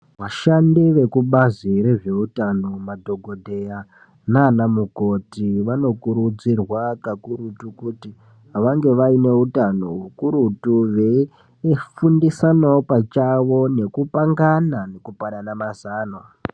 Vashandi vekubazi rezvehutano madhokodheya nana mukoti vanokurudzirwa kakurutu kuti vange vane hutano ukurutu veifundisanawo pachawo veipangana nekupanana mazano.